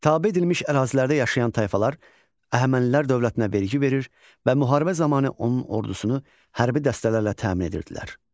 Tabe edilmiş ərazilərdə yaşayan tayfalar Əhəmənilər dövlətinə vergi verir və müharibə zamanı onun ordusunu hərbi dəstələrlə təmin edirdilər.